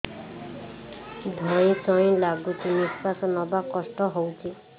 ଧଇଁ ସଇଁ ଲାଗୁଛି ନିଃଶ୍ୱାସ ନବା କଷ୍ଟ ହଉଚି